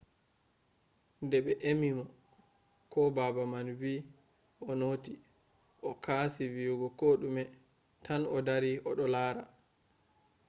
de ɓe emimo ko baba man wii o noti o kasi wiyugo koɗume tan o dari oɗo laara.